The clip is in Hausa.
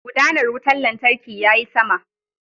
Gudanar wutar lantarkin yayi sama.